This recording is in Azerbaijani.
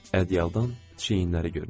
Ədyaldan çiyinləri görünürdü.